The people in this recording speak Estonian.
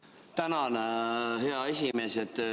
Tänan, hea esimees!